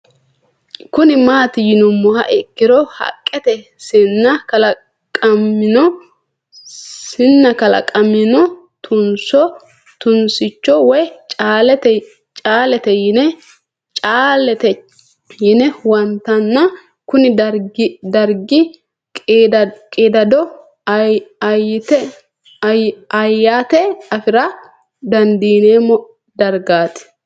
Kuni mati yinumoha ikiro haqqete Sinani kalaqamino tunso tunsicho woyi caaleti yine huwantana Kuni darigini qidado ayate afira dandineemo dargat